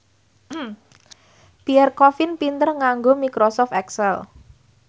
Pierre Coffin pinter nganggo microsoft excel